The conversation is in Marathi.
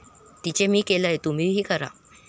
तेच मी केलंय, तुम्हीही करा.